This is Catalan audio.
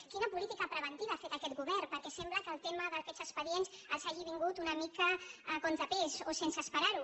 quina política preventiva ha fet aquest govern perquè sembla que el tema d’aquests expedients els hagin vingut una mica a contra pèl o sense esperar ho